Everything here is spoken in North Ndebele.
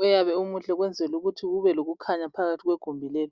oyabe umuhle ukwenzela ukuthi kube lokukhanya phakathi kwegumbi leli.